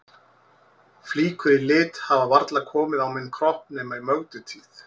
Flíkur í lit hafa varla komið á minn kropp nema í Mögdu tíð.